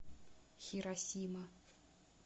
хиросима